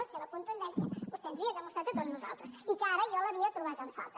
la seva contundència vostè ens havia demostrat a tots nosaltres i que ara jo l’havia trobat en falta